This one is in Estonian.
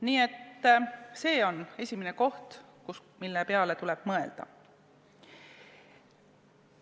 Nii et see on esimene asi, mille peale tuleb mõelda.